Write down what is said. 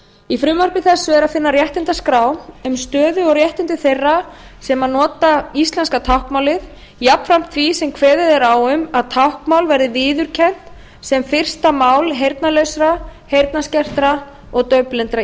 í frumvarpi þessu er að finna réttindaskrá um stöðu og réttindi þeirra sem nota íslenska táknmálið jafnframt því sem kveðið er á um að táknmál verði viðurkennt sem fyrsta mál heyrnarlausra heyrnarskertra og daufblindra